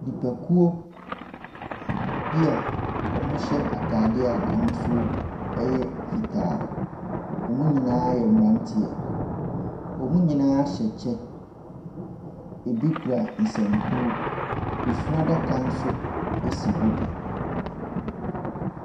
Nnipakuo bi a wɔahyɛ ataadeɛ a n’ahosuo yɛ fitaa. Wɔn nyinaa yɛ mmeranteɛ. Wɔn nyinaa hyɛ kyɛ, ɛbi kura nsankuo. Afunu adaka nso si hɔ bi.